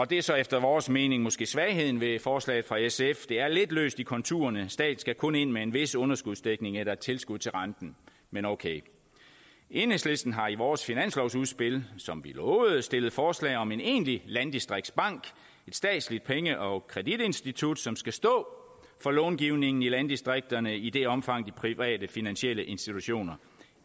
det er så efter vores mening måske svagheden ved forslaget fra sf det er lidt løst i konturerne staten skal kun ind med en vis underskudsdækning eller et tilskud til renten men okay enhedslisten har i vores finanslovsudspil som vi lovede stillet forslag om en egentlig landdistriktsbank et statsligt penge og kreditinstitut som skal stå for långivningen i landdistrikterne i det omfang de private finansielle institutioner